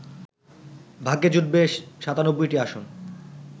ভাগ্যে জুটবে ৯৭টি আসন